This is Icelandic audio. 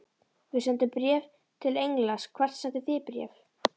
Við sendum bréf til Englands. Hvert sendið þið bréf?